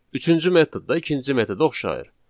Üçüncü metod da ikinci metoda oxşayır.